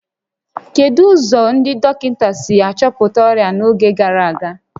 Kedu ụzọ ndị dọkịta si achọpụta ọrịa n'oge gara aga?